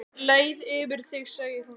Leið yfir þig segir hún lágt.